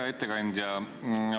Hea ettekandja!